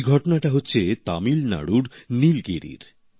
এই ঘটনাটা হচ্ছে তামিলনাড়ুর নীলগিরির